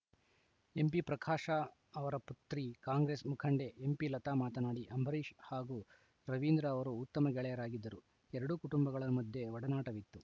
ಎಂಪಿಪ್ರಕಾಶ ಅವರ ಪುತ್ರಿ ಕಾಂಗ್ರೆಸ್‌ ಮುಖಂಡೆ ಎಂಪಿಲತಾ ಮಾತನಾಡಿ ಅಂಬರೀಷ್‌ ಹಾಗೂ ರವೀಂದ್ರ ಅವರು ಉತ್ತಮ ಗೆಳೆಯರಾಗಿದ್ದರು ಎರಡೂ ಕುಟುಂಬಗಳ ಮಧ್ಯೆ ಒಡನಾಟವಿತ್ತು